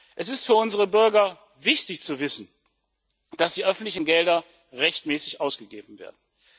Es ist für unsere Bürger wichtig, zu wissen, dass die öffentlichen Gelder rechtmäßig ausgegeben werden.